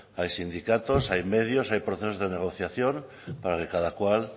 hay sindicatos hay medios hay procesos de negociación para que cada cual